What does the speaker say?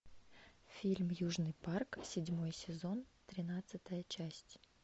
фильм южный парк седьмой сезон тринадцатая часть